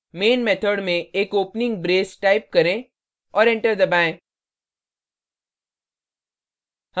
main method में एक opening brace type करें और enter करें